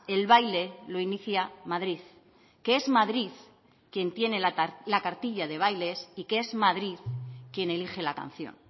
el baile lo inicia madrid que es madrid quien tiene la cartilla de bailes y que es madrid quien elige la canción